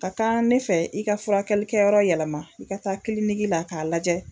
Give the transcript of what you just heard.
Ka kan ne fɛ i ka furakɛlikɛ yɔrɔ yɛlɛma i ka taa kiliniki la k'a lajɛ